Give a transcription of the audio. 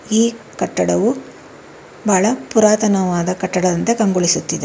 ಈ ಕಟ್ಟಡವು ಬಹಳ ಪುರಾತನವಾದ ಕಟ್ಟಡದಂತೆ ಕಂಗೊಳಿಸುತ್ತಿದೆ.